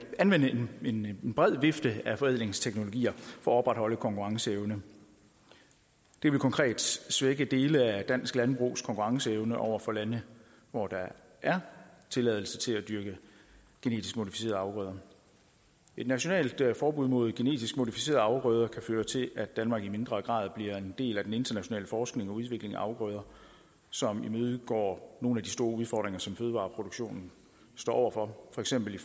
anvende en bred vifte af forædlingsteknologier for at opretholde konkurrenceevne det vil konkret svække dele af dansk landbrugs konkurrenceevne over for lande hvor der er tilladelse til at dyrke genetisk modificerede afgrøder et nationalt forbud mod genetisk modificerede afgrøder kan føre til at danmark i mindre grad bliver en del af den internationale forskning og udvikling af afgrøder som imødegår nogle af de store udfordringer som fødevareproduktionen står over for for eksempel i